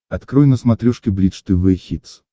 открой на смотрешке бридж тв хитс